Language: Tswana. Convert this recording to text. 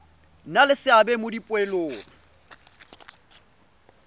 nna le seabe mo dipoelong